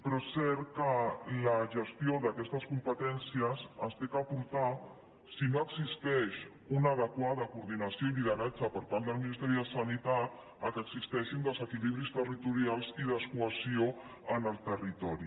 però és cert que la gestió d’aquestes competències s’ha de portar si no existeix una adequada coordinació i lideratge per part del ministeri de sanitat al fet que existeixin desequilibris territorials i descohesió en el territori